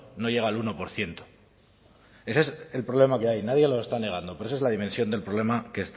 no llega al uno por ciento ese es el problema que hay nadie lo está negando pero esa es la dimensión del problema